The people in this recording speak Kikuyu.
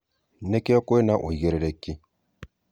Nĩkĩo twĩna ũigerereki.